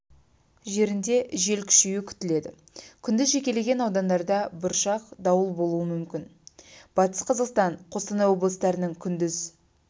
жерінде жел күшеюі күтіледі күндіз жекелеген аудандарда бұршақ дауыл болуы мүмкін батыс-қазақстан қостанай облыстарының күндіз